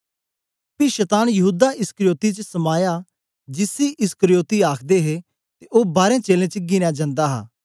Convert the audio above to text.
पी शतान यहूदा इस्करियोती च समाया जिसी इस्करियोती आखदे हे ते ओ बारें चेलें च गिनया जंदा हा